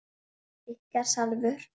Ykkar Salvör.